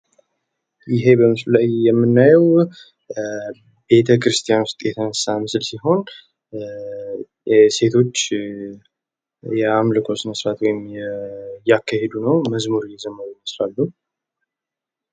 ይሄ በምስሉ ላይ የምናየው ቤተ ክርስቲያን ውስጥ የተነሳ ምስል ሲሆን ሴቶች የአምልኮ ስነ ስርአት እያካሄዱ ነው። መዝሙር እየዘመሩ ይመስላሉ።